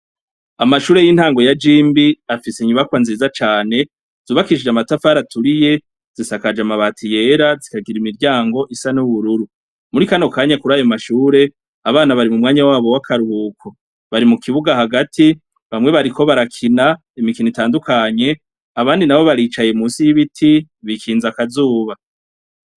Amashure yintango ya jimbi afise inyubakwa nziza cane zubakishije amatafari aturiye zisakaje amabati yera zikagira imiryango isa nubururu murikano kanya kurayo mashure abana bari mumwanya wabo wakaruhuko bari mukibuga hagati bamwe bariko barakina imikino itandukanye abandi nabo baricaye munsi yibiti bikinze akazuba